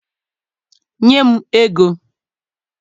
nye m ego!